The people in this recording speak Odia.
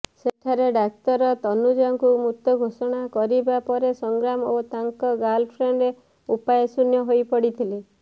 ସେଠାରେ ଡାକ୍ତର ତନୁଜାଙ୍କୁ ମୃତ ଘୋଷଣା କରିବା ପରେ ସଂଗ୍ରାମ ଓ ତାଙ୍କ ଗାର୍ଲଫ୍ରେଣ୍ଡ ଉପାୟଶୂନ୍ୟ ହୋଇପଡିଥିଲେ